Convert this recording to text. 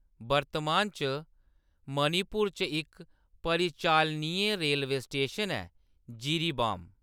वर्तमान च, मणिपुर च इक परिचालनीय रेलवे स्टेशन ऐ, जिरीबाम।